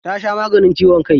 Ta sha maganin ciwon kai.